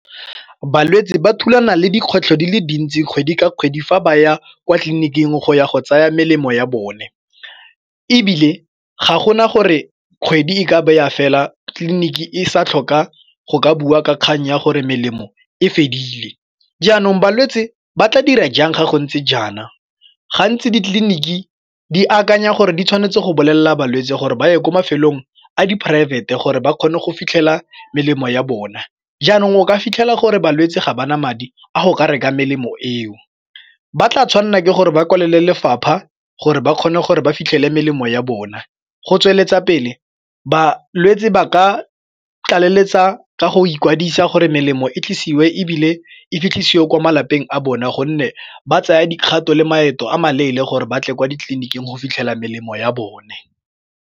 Balwetsi ba thulana le dikgwetlho di le dintsi kgwedi ka kgwedi fa ba ya kwa tleliniking go ya go tsaya melemo ya bone ebile ga gona gore kgwedi e ka baya fela tliliniki e sa tlhoka go ka bua ka kgang ya gore melemo e fedile, jaanong balwetse ba tla dira jang fa gontse jaana? Gantsi ditleliniki di akanya gore di tshwanetse go bolelela balwetse gore ba ye ko mafelong a di poraefete gore ba kgone go fitlhela melemo ya bona jaanong o ka fitlhela gore balwetse ga bana madi a go ka reka melemo eo ba tla tshwanela ke gore ba kwalele lefapha gore ba kgone gore ba fitlhele melemo ya bona go tsweletsa pele balwetsi ba ka a tlaleletsa ka go ikwadisa gore melemo e tlisiwe ebile e dirisiwe kwa malapeng a bone gonne ba tsaya dikgato le maeto a maleele gore ba tle kwa ditleliniking go fitlhela melemo ya bone.